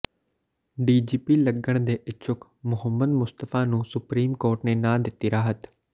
DGP ਲੱਗਣ ਦੇ ਇੱਛੁਕ ਮੁਹੰਮਦ ਮੁਸਤਫਾ ਨੂੰ ਸੁਪਰੀਮ ਕੋਰਟ ਨੇ ਨਾ ਦਿੱਤੀ ਰਾਹਤ